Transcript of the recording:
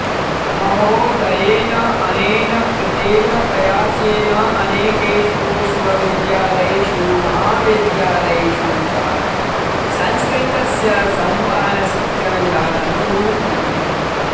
महोदयेनानेन कृतेन प्रयासेन अनेकेषु विश्वविद्यालयेषु महाविद्यालयेषु च संस्कृतस्य संवहनशिक्षणविधानं रूपितम्